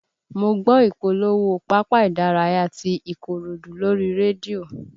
Mo gbọ́ ìpolówó pápá ìdárayá ti Ikorodu lórí rédíò